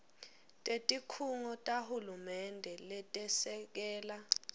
tetikhungo tahulumende letesekela